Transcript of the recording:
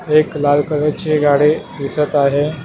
एक लाल कलरची गाडी दिसत आहे.